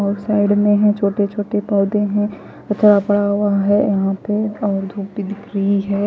और साइड में हैं छोटे छोटे पौधे है और थोड़ा बड़ा हुआ है यहां पे और धूप भी दिख रही है।